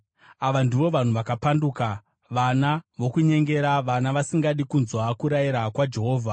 Ava ndivo vanhu vakapanduka, vana vokunyengera, vana vasingadi kunzwa kurayira kwaJehovha.